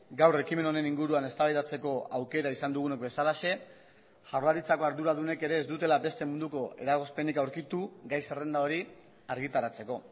gaur ekimen honen inguruan eztabaidatzeko aukera izan dugunok bezalaxe jaurlaritzako arduradunek ere ez dutela beste munduko eragozpenik aurkitu gai zerrenda hori argitaratzeko